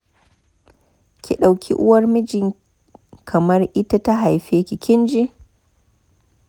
Ki ɗauki Uwar miji kamar ita ta haife ki, kin ji?